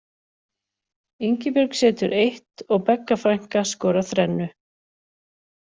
Ingibjörg setur eitt og Begga frænka skorar þrennu.